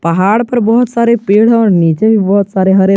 पहाड़ पर बहोत सारे पेड़ और नीचे भी बहोत सारे हरे।